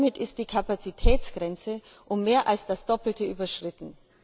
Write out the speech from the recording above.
Damit ist die Kapazitätsgrenze um mehr als das Doppelte überschritten.